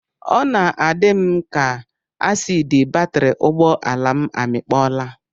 Ọ na-adị m ka asiidi batịrị ụgbọala m amịkpọọla